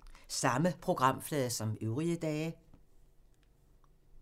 Samme programflade som øvrige dage